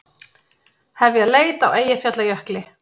Hefja leit á Eyjafjallajökli